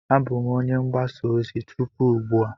Abụ m onye mgbasa ozi tupu ugbu a.